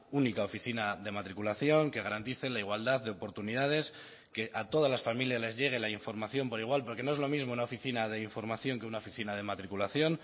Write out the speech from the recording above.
única oficina de matriculación que garantice la igualdad de oportunidades que a todas las familias les llegue la información por igual porque no es lo mismo una oficina de información que una oficina de matriculación